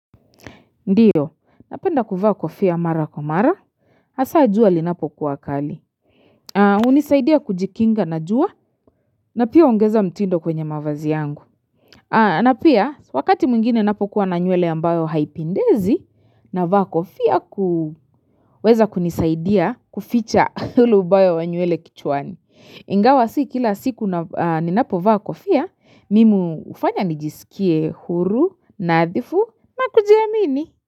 Ndio, napenda kuvaa kofia mara kwa mara, hasa jua linapokuwa kali. Hunisaidia kujikinga na jua, na pia huongeza mtindo kwenye mavazi yangu. Na pia, wakati mwingine napokuwa na nywele ambayo haipindezi, na vaa kofia kuweza kunisaidia kuficha ule ubaya wa nywele kichwani. Ingawa, si kila siku ninapo vaa kofia, mimi hufanya nijisikie huru, nadhifu, kujiamini.